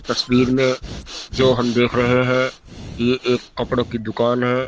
तस्वीर में जो हम देख रहे हैं ये एक कपड़ों की दुकान है।